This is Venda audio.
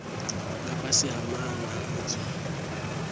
nga fhasi ha maana adzo